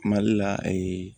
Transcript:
Mali la